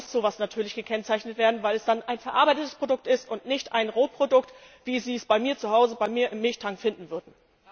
Damit muss so etwas natürlich gekennzeichnet werden, weil es dann ein verarbeitetes Produkt ist und nicht ein Rohprodukt, wie Sie es bei mir zu Hause, bei mir im Milchtank finden würden.